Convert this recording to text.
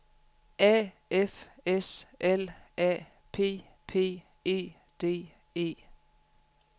A F S L A P P E D E